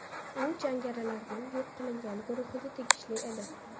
U jangarilarning yo‘q qilingan guruhiga tegishli edi.